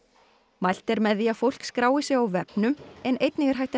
mælt er með því að fólk skrái sig á vefnum en einnig er hægt að